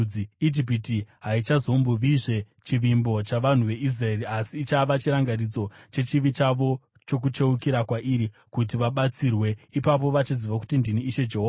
Ijipiti haichazombovizve chivimbo chavanhu veIsraeri asi ichava chirangaridzo chechivi chavo chokucheukira kwairi kuti vabatsirwe. Ipapo vachaziva kuti ndini Ishe Jehovha.’ ”